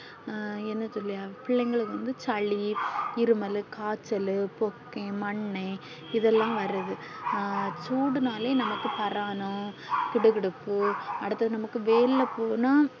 என்ன சொல்லி பிள்ளைகளுக்கு சளி இருமல்லு காய்ச்சல்லு போக்கைன் மன்னன் இதெல்லாம் வருது சூடு நாளையும் நமக்கு பிராணம் கிடுகிடுப்பு அடுத்து நமக்கு வந்து வெயில் போனா